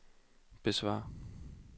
besvar